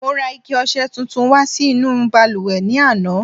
Mo ra ike ọṣẹ tuntun wá sí inú balùwẹ̀ ní àná.